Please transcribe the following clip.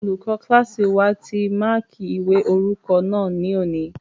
Olùkọ́ kílásì wa ti máàkí ìwé orúkọ náà ní òní